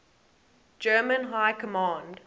german high command